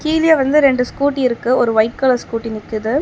கீழியே வந்து ரெண்டு ஸ்கூட்டி இருக்கு ஒரு வைட் கலர் ஸ்கூட்டி நிக்குது.